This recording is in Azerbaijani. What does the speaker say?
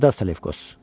Əlvida Selevkos.